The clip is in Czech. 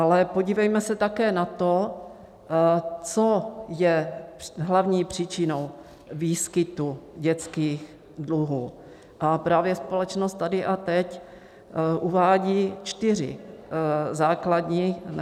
Ale podívejme se také na to, co je hlavní příčinou výskytu dětských dluhů, a právě společnost Tady a teď uvádí čtyři základní příčiny.